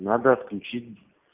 надо отключить